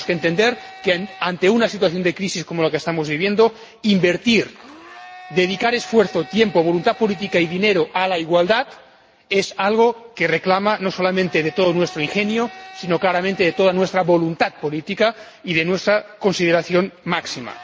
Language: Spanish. Tenemos que entender que, ante una situación de crisis como la que estamos viviendo, invertir, dedicar esfuerzo, tiempo, voluntad política y dinero a la igualdad es algo que reclama no solamente todo nuestro ingenio, sino también, claramente, toda nuestra voluntad política y nuestra consideración máxima.